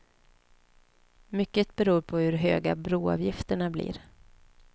Mycket beror på hur höga broavgifterna blir.